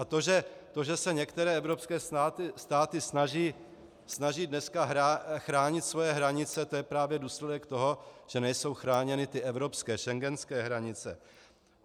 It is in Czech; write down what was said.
A to, že se některé evropské státy snaží dneska chránit svoje hranice, to je právě důsledek toho, že nejsou chráněny ty evropské, schengenské hranice.